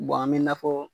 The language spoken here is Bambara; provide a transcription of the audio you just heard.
an bɛ na fɔ